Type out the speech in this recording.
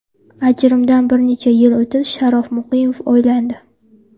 Ajrimdan bir necha yil o‘tib Sharof Muqimov uylandi.